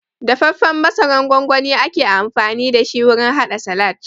Dafaffen masarar gongoni ake amfani dashi wurin haɗa salad